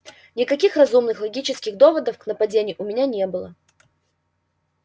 никаких разумных логических доводов к нападению у меня не было